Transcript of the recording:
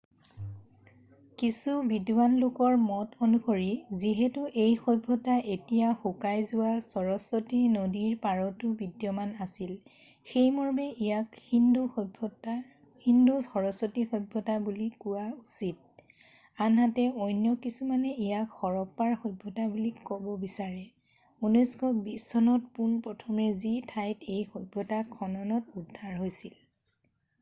কিছু বিদ্বান লোকৰ মত অনুসৰি যিহেতু এই সভ্যতা এতিয়া শুকাই যোৱা সৰস্বতী নদীৰ পাৰতো বিদ্যমান আছিল সেই মৰ্মে ইয়াক সিন্দু সৰস্বতী সভ্যতা বুলি কোৱা উচিত আনহাতে অন্য কিছুমানে ইয়াক হৰপ্পাৰ সভ্যতা বুলি ক'ব বিচাৰে 1920 চনত পোনপ্ৰথমে যি ঠাইত এই সভ্যতা খননত উদ্ধাৰ হৈছিল